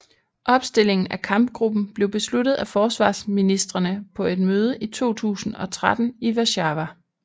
Opstillingen af kampgruppen blev besluttet af forsvarsministrene på et møde i 2013 i Warszawa